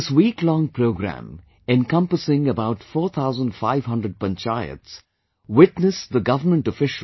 This week long programme encompassing about 4500 panchayats witnessed the govt